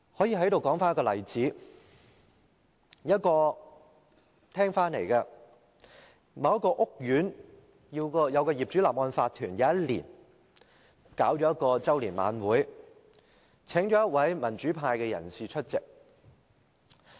有一年，某一個屋苑的業主立案法團舉行周年晚會，邀請一位民主派人士出席。